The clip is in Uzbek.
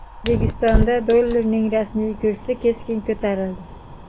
O‘zbekistonda dollarning rasmiy kursi keskin ko‘tarildi.